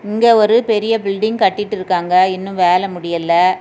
இங்கே ஒரு பெரிய பில்டிங் கட்டிட்டு இருக்காங்க. இன்னும் வேலை முடியல.